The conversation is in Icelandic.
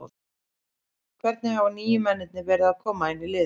Hvernig hafa nýju mennirnir verið að koma inn í liðið?